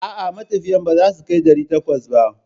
A'a, matafiyan ba za su kai ɗari takwas ba.